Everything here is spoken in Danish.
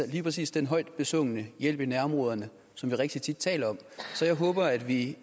lige præcis den højt besungne hjælp i nærområderne som vi rigtig tit taler om så jeg håber at vi